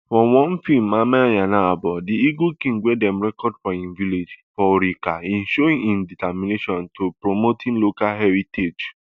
for one feem amanyanabo the eagle king wey dem record for im village for okrika im show im determination to promoting local heritage